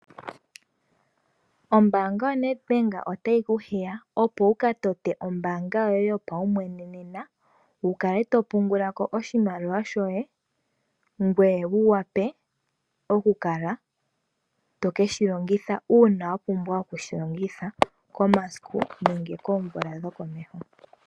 Ombaanga yoNedbank otayi kuhiya opo wukatote ombaanga yoye yopaumwene nena wukale topungula ko oshimaliwa shoye. Ngoye wuwape okukala tokeshilongitha uuna wapumbwa okushilogitha komasiku nenge koomvula dhokomeho.